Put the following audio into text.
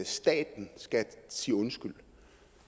staten skal sige undskyld